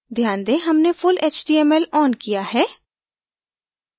ध्यान दें कि हमने full html on किया है